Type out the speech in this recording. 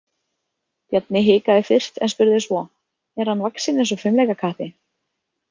Bjarni hikaði fyrst en spurði svo: Er hann vaxinn eins og fimleikakappi?